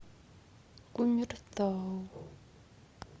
кумертау